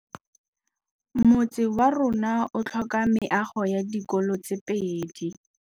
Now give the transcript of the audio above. Motse warona o tlhoka meago ya dikolô tse pedi.